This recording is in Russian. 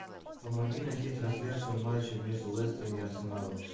помоги найти трансляцию матча между лестером и арсеналом